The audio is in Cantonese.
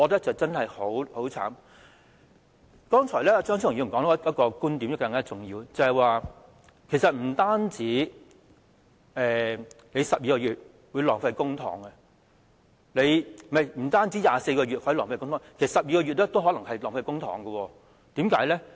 張超雄議員剛才提及一個更重要的觀點，便是不單24個月會浪費公帑，其實即使是12個月也可能會浪費公帑的，為甚麼呢？